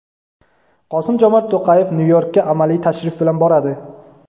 Qosim-Jomart To‘qayev Nyu-Yorkga amaliy tashrif bilan boradi.